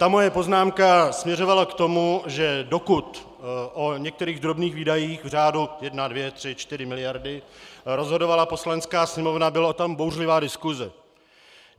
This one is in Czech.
Ta moje poznámka směřovala k tomu, že dokud o některých drobných výdajích v řádu 1, 2, 3, 4 miliardy rozhodovala Poslanecká sněmovna, byla tam bouřlivá diskuse.